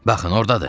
Baxın, ordadır!